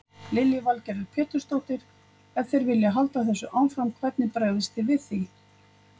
Lillý Valgerður Pétursdóttir: Ef þeir halda þessu áfram, hvernig bregðist þið við því?